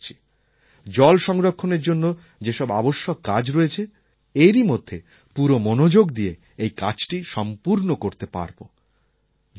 আমি আশা করছি জল সংরক্ষণের জন্য যেসব আবশ্যক কাজ রয়েছে এরই মধ্যে পুরো মনোযোগ দিয়ে এই কাজটি সম্পূর্ণ করতে পারব